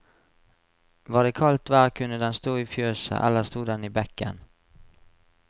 Var det kaldt vær kunne den stå i fjøset, ellers stod den i bekken.